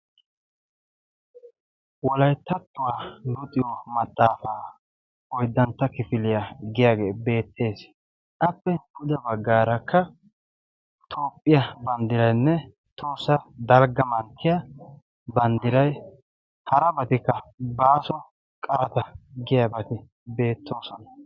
"wolayttattuwaa luxiyo maxaafaa oyddantta kifiliyaa" giyaagee beettees. appe pude baggaarakka toophphiya banddiraynne tohossa dalgga manttiya banddiray harabatikka "baaso qarata" giyaabati beettoosona.